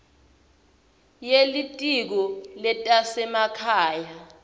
ye litiko letasekhaya